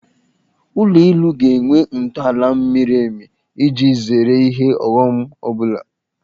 Ụlọ elu ga-enwe ntọaala miri emi iji zere ihe ọghọm ọbụla